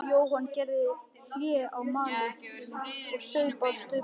Jóhann gerði hlé á máli sínu og saup á staupinu.